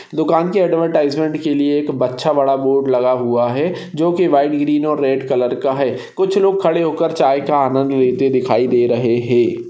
दुकान की ॲड्वटाईजमेंट के लिए एक बच्चा बड़ा बोर्ड लगा हुआ है जो की व्हाइट ग्रीन और रेड कलर का है कुछ लोग खड़े होकर चाय का आनंद लेते दिखाई दे रहे है।